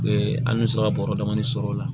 an bɛ se ka bɔrɔ damanin sɔrɔ o la